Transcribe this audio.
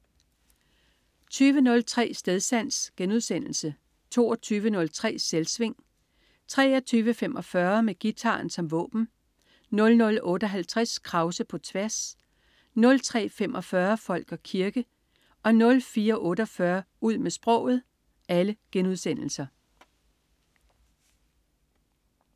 20.03 Stedsans* 22.03 Selvsving* 23.45 Med guitaren som våben* 00.58 Krause på tværs* 03.45 Folk og kirke* 04.48 Ud med sproget*